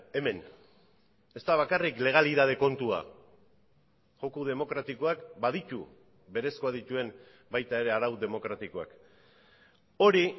hemen ez da bakarrik legalitate kontua joko demokratikoak baditu berezkoak dituen baita ere arau demokratikoak hori